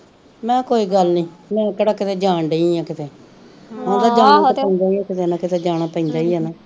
ਮੇਹਾ ਕੋਈ ਗੱਲ ਨੀ ਮੈਂ ਕੇਹੜਾ ਕੀਤੇ ਜਾਣ ਡਈ ਆ ਕੀਤੇ ਉ ਤਾ ਜਾਣਾ ਪੈਂਦਾ ਈ ਕੀਤੇ ਨਾ ਕੀਤੇ ਜਾਣਾ ਪੈਂਦਾ ਈ ਆ ਨਾ